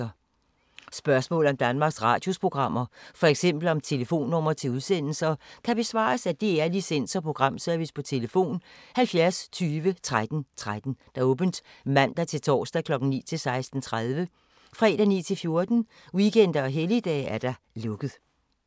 Spørgsmål om Danmarks Radios programmer, f.eks. om telefonnumre til udsendelser, kan besvares af DR Licens- og Programservice: tlf. 70 20 13 13, åbent mandag-torsdag 9.00-16.30, fredag 9.00-14.00, weekender og helligdage: lukket.